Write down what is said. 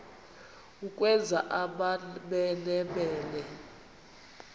ukwenza amamene mene